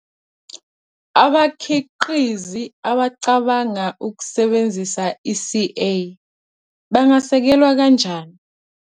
Abakhiqizi abacabanga ukusebenzisa i-CA bangasekelwa kanjani?